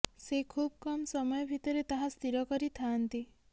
ସେ ଖୁବ୍ କମ୍ ସମୟ ଭିତରେ ତାହା ସ୍ଥିର କରିଥାଆନ୍ତି